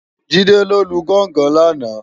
Jide ló lú gòngòn làná